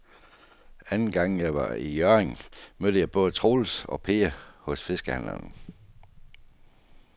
Anden gang jeg var i Hjørring, mødte jeg både Troels og Per hos fiskehandlerne.